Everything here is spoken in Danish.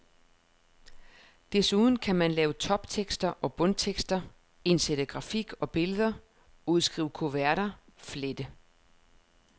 Desuden kan man lave toptekster og bundtekster, indsætte grafik og billeder, udskrive kuverter, flette.